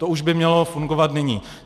To už by mělo fungovat nyní.